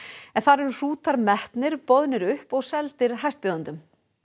en þar eru hrútar metnir boðnir upp og seldir hæstbjóðendum